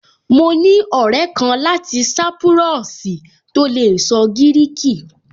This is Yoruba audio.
Mo ní ọ̀rẹ́ kan láti sápúrọ́ọ̀sì tó lè sọ gíríkì